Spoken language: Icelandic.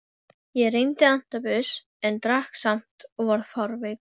Ég reyndi antabus en drakk samt og varð fárveikur.